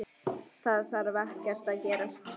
Það þarf ekkert að gerast.